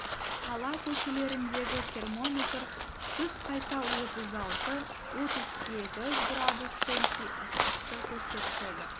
қала көшелеріндегі термометр түс қайта отыз алты отыз сегіз градус цельсий ыстықты көрсетеді